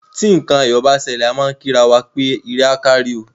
Tí nǹkan ayọ̀ bá ṣẹlẹ̀, a má á ń kí ara wa pé ire á kárí o.